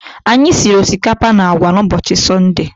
Anyị siri osikapa na agwa n'ụbọchị Sọnde